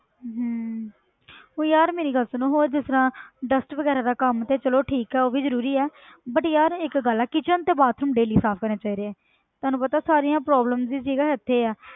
ਹਮ ਉਹ ਯਾਰ ਮੇਰੀ ਗੱਲ ਸੁਣ ਹੋਰ ਜਿਸ ਤਰ੍ਹਾਂ dust ਵਗ਼ੈਰਾ ਦਾ ਕੰਮ ਤੇ ਚਲੋ ਠੀਕ ਹੈ ਉਹ ਵੀ ਜ਼ਰੂਰੀ ਹੈ but ਯਾਰ ਇੱਕ ਗੱਲ ਆ ਕਿਚਨ ਤੇ bathroom daily ਸਾਫ਼ ਕਰਨੇ ਚਾਹੀਦੇ ਹੈ ਤੁਹਾਨੂੰ ਪਤਾ ਸਾਰੀਆਂ problems ਹੀ ਠੀਕ ਆ ਇੱਥੇ ਹੈ।